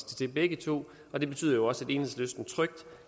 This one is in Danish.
det begge to og det betyder jo også at enhedslisten trygt